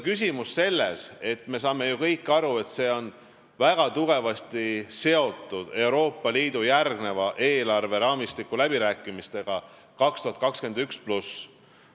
Küsimus on selles, et me saame ju kõik aru, et see on väga tugevasti seotud Euroopa Liidu järgmise eelarveraamistiku 2021+ läbirääkimistega.